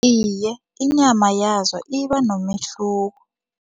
Iye, inyama yazo ibanomehluko.